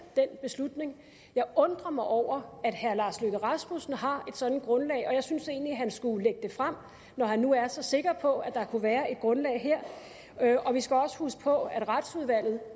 den beslutning jeg undrer mig over at herre lars løkke rasmussen har et sådant grundlag og jeg synes egentlig at han skulle lægge det frem når han nu er så sikker på at der kunne være et grundlag her vi skal også huske på at retsudvalget